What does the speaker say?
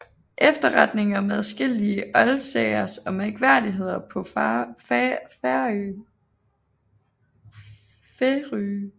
Efterretning om adskillige Oldsagers og Mærkværdigheder paa Færøe